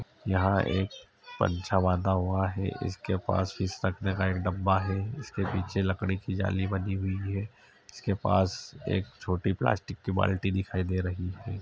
यहाँं एक पंछा बांदा हुआ है इसके पास इस टकने का एक डब्बा है इसके पीछे एक लकड़ी की जाली बनी हुई है इसके पास एक छोटी पलास्टिक की बाल्टी दिखाई दे रही है।